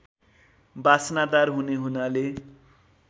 बासनादार हुने हुनाले